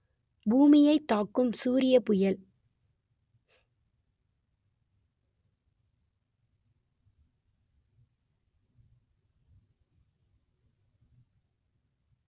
பூமியைத் தாக்கும் சூரியப் புயல்